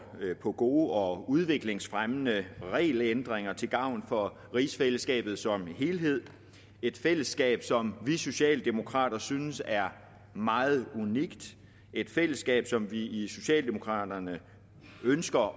på gode og udviklingsfremmende regelændringer til gavn for rigsfællesskabet som helhed et fællesskab som vi socialdemokrater synes er meget unikt et fællesskab som vi i socialdemokraterne ønsker